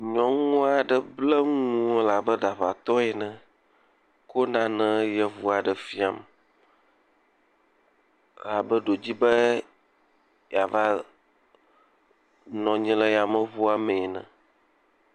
nyɔŋuaɖe kple ŋuwo abe ɖaʋatɔ ene kó nane yevuaɖe fiam abe ɖewo dzibe yava nɔnyi le yameʋuɔ me nɛ ne